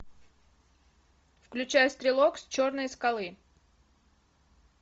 включай стрелок с черной скалы